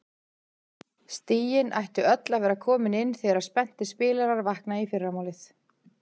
Stigin ættu öll að vera komin inn þegar spenntir spilarar vakna í fyrramálið.